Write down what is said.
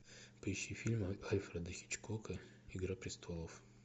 поищи фильм альфреда хичкока игра престолов